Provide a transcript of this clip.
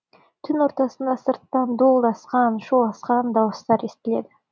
түн ортасында сырттан дуылдасқан шуласқан дауыстар естілді